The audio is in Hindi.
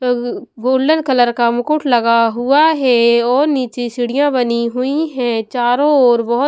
गोल्डन कलर का मुकुट लगा हुआ है और नीचे सीढ़ियां बनी हुई है चारों ओर बहुत--